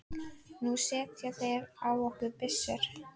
Nú setja þeir á okkur byssur!